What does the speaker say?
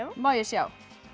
má ég sjá